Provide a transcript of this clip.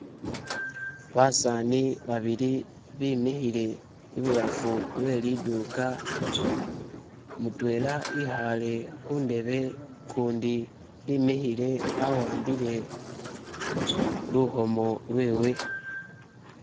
basaani babili bimihile ibulafu weliduka mutwela ihale hundebe kundi imihile awambile luhomo lwewe